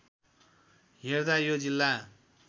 हेर्दा यो जिल्ला